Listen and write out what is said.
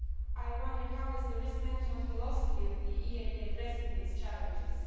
I wonder how the risk management philosophy of the EIB is addressing these challenges.